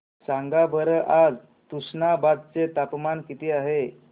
सांगा बरं आज तुष्णाबाद चे तापमान किती आहे